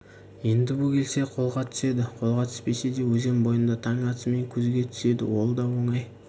енді бөгелсе қолға түседі қолға түспесе де өзен бойында таң атысымен көзге түседі ол да оңай